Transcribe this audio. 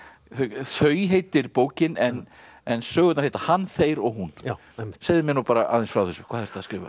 þau heitir bókin en en sögurnar heita hann þeir og hún segðu mér aðeins frá þessu hvað ertu að skrifa